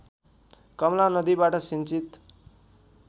कमला नदीबाट सिंचित